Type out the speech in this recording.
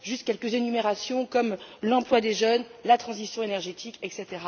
Juste quelques énumérations comme l'emploi des jeunes, la transition énergétique, etc.